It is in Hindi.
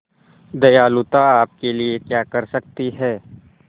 दयालुता आपके लिए क्या कर सकती है